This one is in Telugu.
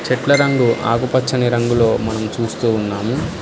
చెట్ల రంగు ఆకుపచ్చని రంగులో మనం చూస్తూ ఉన్నాము.